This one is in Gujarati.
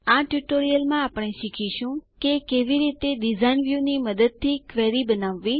આ ટ્યુટોરીયલમાં આપણે શીખીશું કે કેવી રીતે ડીઝાઇન વ્યુંની મદદથી ક્વેરી બનાવવી